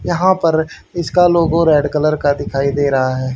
यहां पर इसका लोगो रेड कलर का दिखाई दे रहा है।